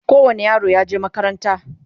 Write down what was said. kowani yaro yaje makaranta